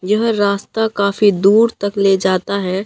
यह रास्ता काफी दूर तक ले जाता है।